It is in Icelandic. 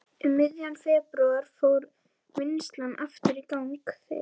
Um miðjan febrúar fór vinnslan aftur í gang þegar